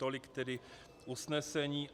Tolik tedy usnesení.